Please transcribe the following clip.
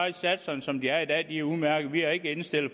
at satserne som de er i dag er udmærkede vi er ikke indstillet